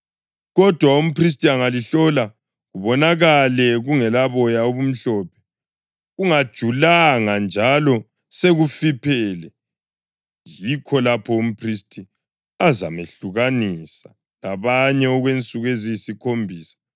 Kodwa umphristi angalihlola kubonakale kungelaboya obumhlophe, kungajulanga njalo sekufiphele, yikho lapho umphristi azamehlukanisa labanye okwensuku eziyisikhombisa.